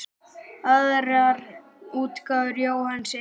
Aðrar útgáfur Jóhanns eru